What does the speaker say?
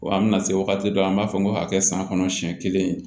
Wa an bɛna se wagati dɔ an b'a fɔ ko hakɛ san kɔnɔ siɲɛ kelen